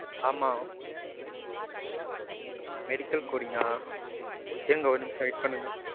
ஆமா. medical coding ஆ இருங்க ஒரு நிமிஷம் இருங்க. wait பண்ணுங்க.